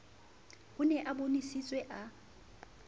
a ne a bonesitse a